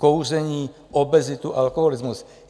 Kouření, obezitu, alkoholismus.